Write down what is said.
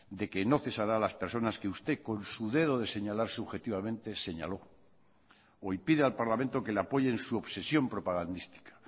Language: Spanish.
de que no cesará a las personas que usted con su dedo de señalar subjetivamente señaló hoy pide al parlamento que le apoye en su obsesión propagandística